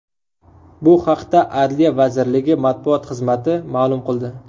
Bu haqda Adliya vazirligi matbuot xizmati ma’lum qildi .